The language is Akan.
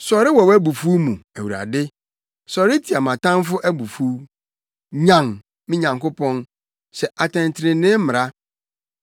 Sɔre wɔ wʼabufuw mu, Awurade! Sɔre tia mʼatamfo abufuw. Nyan, me Nyankopɔn; hyɛ atɛntrenee mmara.